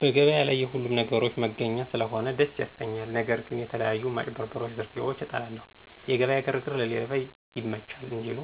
በገበያ ላይ የሁሉንም ነገሮች መገኛ ስለሆነ ደስ ያሰኛል። ነገር ግን የተለያዩ ማጭበርበሮች ዝርፊያዎችን እጠላለሁ። የገበያ ግርግር ለሌባ ይመቻል እንዲሉ፤